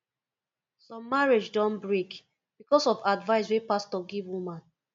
some marriage don break because of advice wey pastor give woman